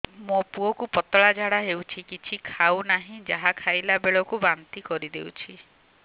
ମୋ ପୁଅ କୁ ପତଳା ଝାଡ଼ା ହେଉଛି କିଛି ଖାଉ ନାହିଁ ଯାହା ଖାଇଲାବେଳକୁ ବାନ୍ତି କରି ଦେଉଛି